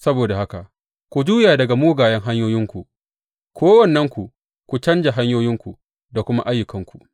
Saboda haka ku juya daga mugayen hanyoyinku, kowannenku, ku canja hanyoyinku da kuma ayyukanku.’